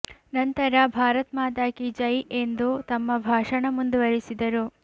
ನಂತರ ಭಾರತ್ ಮಾತಾ ಕೀ ಜೈ ಎಂದು ತಮ್ಮ ಭಾಷಣ ಮುಂದುವರೆಸಿದರು